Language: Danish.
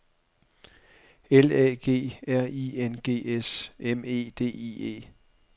L A G R I N G S M E D I E